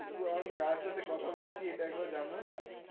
কিন্তু আমি কার সাথে কথা বলছি এটা একবার জানবো না?